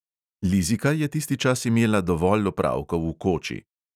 Lizika je tisti čas imela dovolj opravkov v koči.